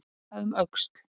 Að líta um öxl